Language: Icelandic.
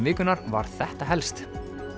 vikunnar var þetta helst